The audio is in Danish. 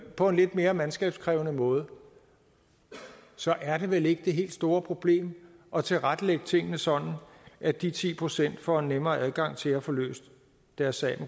på en lidt mere mandskabskrævende måde så er det vel ikke det helt store problem at tilrettelægge tingene sådan at de ti procent får en nemmere adgang til at få løst deres sag